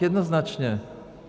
Jednoznačně.